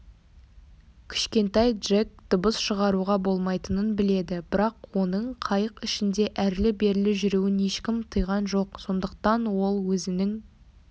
кішкентай джек дыбыс шығаруға болмайтынын біледі бірақ оның қайық ішінде әрлі-берлі жүруін ешкім тыйған жоқ сондықтан ол өзінің